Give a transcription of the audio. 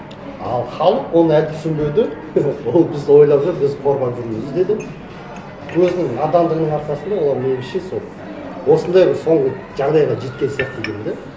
ал халық ол әдісін білді ол бізді ойлап жүр қорғап жүр бізді деп өзінің надандығының арқасында олар өзінше сол осындай бір соңғы жағдайға жеткен сияқты деймін де